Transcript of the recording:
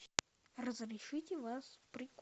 разрешите вас